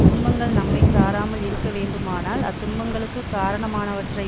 துன்பங்கள் நம்மை சாராமல் இருக்க வேண்டுமானால் அத்துன்பங்களுக்குக் காரணமானவற்றை